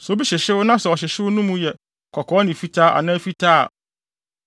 “Sɛ obi hyehyew na sɛ ɔhyehyew no mu yɛ kɔkɔɔ ne fitaa anaa fitaa a,